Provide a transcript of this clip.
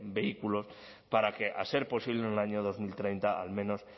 vehículos para que a ser posible en el año dos mil treinta al menos